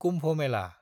Kumbh Mela